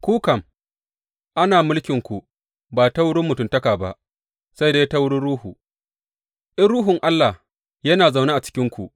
Ku kam, ana mulkinku ba ta wurin mutuntaka ba, sai dai ta wurin Ruhu, in Ruhun Allah yana zaune a cikinku.